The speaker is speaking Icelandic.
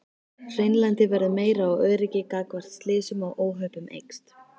Hreinlæti verður meira og öryggi gagnvart slysum og óhöppum eykst.